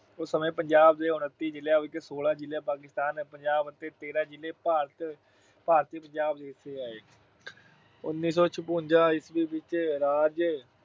ਉਸ ਸਮੇਂ ਪੰਜਾਬ ਦੇ ਉੱਨਤੀ ਜ਼ਿਲ੍ਹਿਆਂ ਵਿੱਚੋਂ ਸੌਲਾਂ ਜ਼ਿਲ੍ਹੇ ਪਾਕਿਸਤਾਨ ਪੰਜਾਬ ਅਤੇ ਤੇਰਾਂ ਜ਼ਿਲ੍ਹੇ ਭਾਰਤ ਅਹ ਭਾਰਤੀ ਪੰਜਾਬ ਦੇ ਹਿੱਸੇ ਆਏ। ਉਨੀ ਸੌ ਛਪੰਜਾ ਈਸਵੀ ਵਿੱਚ ਰਾਜ